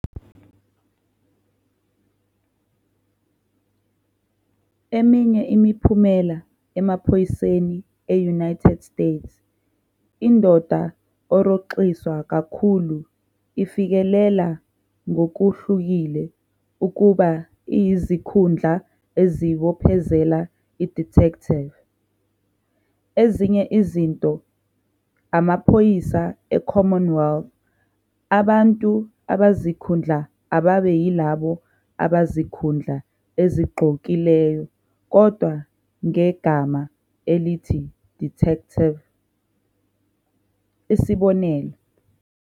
Eminye imiphumela emaphoyiseni e-United States, indoda orhoxiswa kakhulu ifikelela ngokuhlukile ukuba iyizikhundla ezibophezela i-"Detective". Ezinye izinto imaphoyisa e-Commonwealth, abantu abazikhundla ababe yilabo abazikhundla ezigqokileyo kodwa ngegama elithi "Detective", isib.